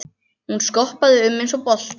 Hún skoppaði um eins og bolti.